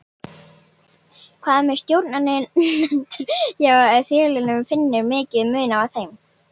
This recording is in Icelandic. Hvað með stjórnendur hjá félögunum, finnurðu mikinn mun á þeim?